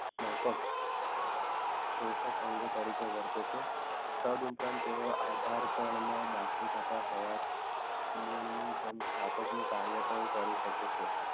માફક શોષક અંગો તરીકે વર્તે છે તદ ઉપરાંત તેઓએ આધાર તદ હોવાથી મૂળની જેમ સ્થાપક નું કાર્ય પણ કરી શકે છે